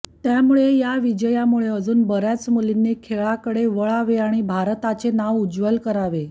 त्यामुळे या विजयामुळे अजून बऱ्याच मुलींनी खेळाकडे वळावे आणि भारताचे नाव उज्ज्वल करावे